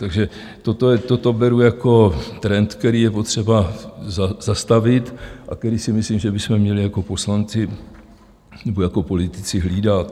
Takže toto beru jako trend, který je potřeba zastavit a který si myslím, že bychom měli jako poslanci nebo jako politici hlídat.